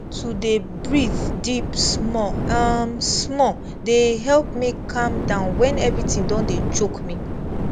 to dey breathe deep small um small dey help me calm down when everything don dey choke me